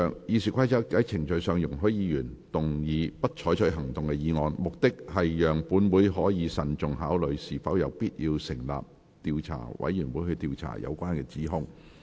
《議事規則》在程序上容許議員動議"不採取行動"的議案，目的是讓本會可慎重考慮是否有必要成立調查委員會，以調查有關指控。